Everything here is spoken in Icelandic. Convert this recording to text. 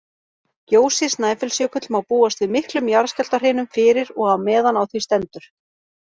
Gjósi Snæfellsjökull má búast við miklum jarðskjálftahrinum fyrir og á meðan á því stendur.